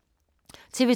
TV 2